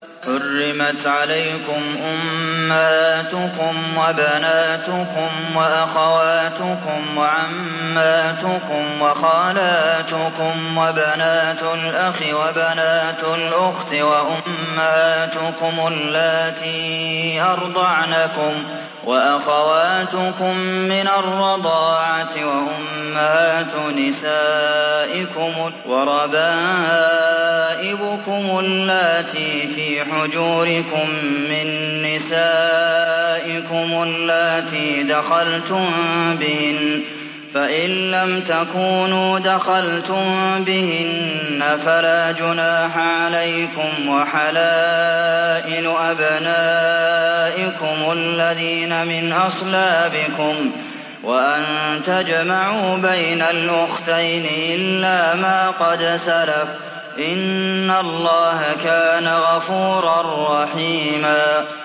حُرِّمَتْ عَلَيْكُمْ أُمَّهَاتُكُمْ وَبَنَاتُكُمْ وَأَخَوَاتُكُمْ وَعَمَّاتُكُمْ وَخَالَاتُكُمْ وَبَنَاتُ الْأَخِ وَبَنَاتُ الْأُخْتِ وَأُمَّهَاتُكُمُ اللَّاتِي أَرْضَعْنَكُمْ وَأَخَوَاتُكُم مِّنَ الرَّضَاعَةِ وَأُمَّهَاتُ نِسَائِكُمْ وَرَبَائِبُكُمُ اللَّاتِي فِي حُجُورِكُم مِّن نِّسَائِكُمُ اللَّاتِي دَخَلْتُم بِهِنَّ فَإِن لَّمْ تَكُونُوا دَخَلْتُم بِهِنَّ فَلَا جُنَاحَ عَلَيْكُمْ وَحَلَائِلُ أَبْنَائِكُمُ الَّذِينَ مِنْ أَصْلَابِكُمْ وَأَن تَجْمَعُوا بَيْنَ الْأُخْتَيْنِ إِلَّا مَا قَدْ سَلَفَ ۗ إِنَّ اللَّهَ كَانَ غَفُورًا رَّحِيمًا